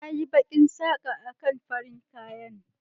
Na yi bakin saka a kan farin kayan.